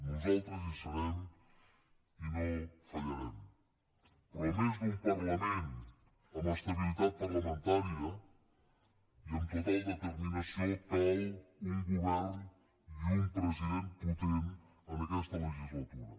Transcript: nosaltres hi serem i no fallarem però a més d’un parlament amb estabilitat parlamentària i amb total determinació calen un govern i un president potents en aquesta legislatura